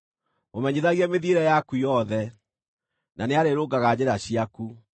mũmenyithagie mĩthiĩre yaku yothe, na nĩarĩrũngaga njĩra ciaku.